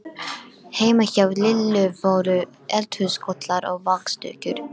Heima hjá Lillu voru eldhúskollar og vaxdúkur.